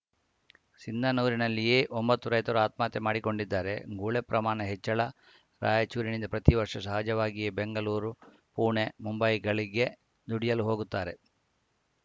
ಸಿಂಧನೂರಿನಲ್ಲಿಯೇ ಒಂಬತ್ತು ರೈತರು ಆತ್ಮಹತ್ಯೆ ಮಾಡಿಕೊಂಡಿದ್ದಾರೆ ಗುಳೆ ಪ್ರಮಾಣ ಹೆಚ್ಚಳ ರಾಯಚೂರಿನಿಂದ ಪ್ರತಿ ವರ್ಷ ಸಹಜವಾಗಿಯೇ ಬೆಂಗಳೂರು ಪುಣೆ ಮುಂಬೈಗಳಿಗೆ ದುಡಿಯಲು ಹೋಗುತ್ತಾರೆ